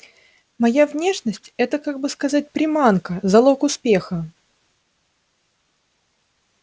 моя внешность это как бы сказать приманка залог успеха